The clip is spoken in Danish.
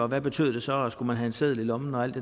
hvad betød det så skulle man have en seddel i lommen og alt